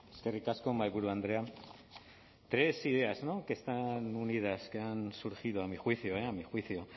eskerrik asko mahaiburu andrea tres ideas no que están unidas que han surgido a mi juicio eh a mi juicio